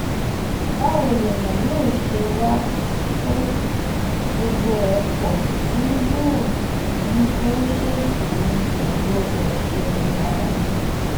báwo lèèyàn yóò ṣe wàá to um gbogbo ẹ̀ pọ̀ tí um yóò ní ó ṣèèṣì ni kò gbọ́dọ̀ ṣẹlẹ̀ rárá